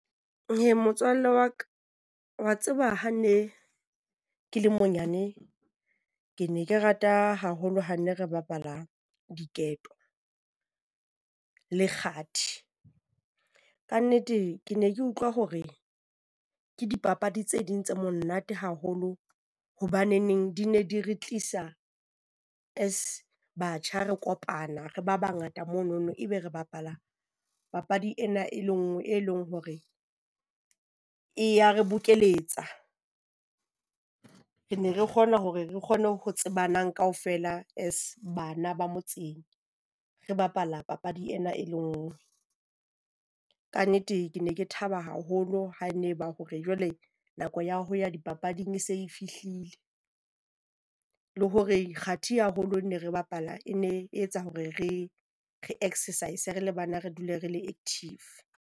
Eh motswalle wa ka, wa tseba ha ne ke le monyane, ke ne ke rata haholo ha ne re bapala diketo, le kgathi. Kannete ke ne ke utlwa hore ke dipapadi tse ding tse monate haholo hobaneneng di ne di re tlisa as batjha re kopana re ba bangata mono e be re bapala papadi ena, e le nngwe. E leng hore e ya re bokeletsa. Re ne re kgona hore re kgone ho tsebanang kaofela as bana ba motseng. Re bapala papadi ena e le nngwe, kannete ke ne ke thaba haholo ha ne ba hore jwale nako ya ho ya dipapading e se e fihlile. Le hore kgathi haholo ha ne re e bapala e ne e etsa hore re re exercise re le bana, re dule re le active.